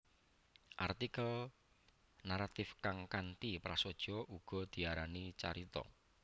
Artikel naratif kang kanthi prasaja uga diarani carita